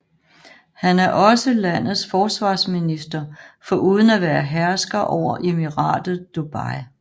Han er også landets forsvarsminister foruden at være hersker over Emiratet Dubai